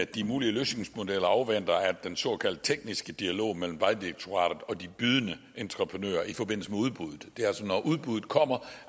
de mulige løsningsmodeller afventer den såkaldte tekniske dialog mellem vejdirektoratet og de bydende entreprenører i forbindelse med udbuddet det er altså når udbuddet kommer